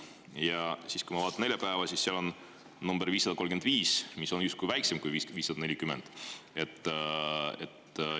Ja kui ma vaatan neljapäeva, siis ma näen, et seal on nr 535, mis on ometi väiksem kui 540.